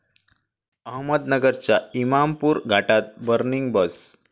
अहमदनगरच्या इमामपूर घाटात 'बर्निंग बस'